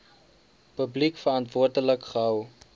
publiek verantwoordelik gehou